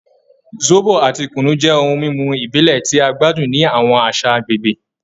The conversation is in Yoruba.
Zobo ati kunu jẹ ohun mimu ibile ti a gbadun ni awọn aṣa agbegbe